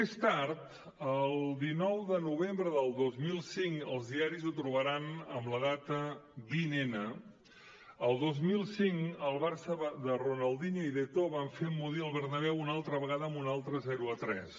més tard el dinou de novembre del dos mil cinc als diaris ho trobaran amb la data vint n el dos mil cinc el barça de ronaldinho i d’eto’o va fer emmudir el bernabéu una altra vegada amb un altre zero a tres